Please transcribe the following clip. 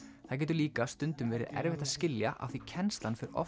það getur líka stundum verið erfitt að skilja af því kennslan fer oft